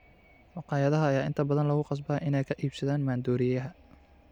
Makhaayadaha ayaa inta badan lagu khasbaa inay ka iibsadaan maandooriyaha.